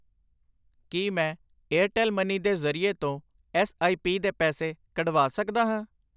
ਕਿ ਮੈਂ Airtel money ਦੇ ਜਰਿਏ ਤੋਂ ਐੱਸ ਆਈ ਪੀ ਦੇ ਪੈਸੇ ਕੱਢਵਾ ਸਕਦਾ ਹਾਂ ?